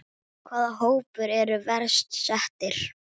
Hvaða hópar eru verst settir?